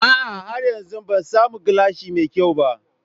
A'a har yanzu Ban samu gilashi mai kyau ba.